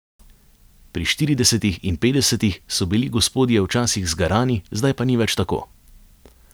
Pri štiridesetih in petdesetih so bili gospodje včasih zgarani, zdaj pa ni več tako.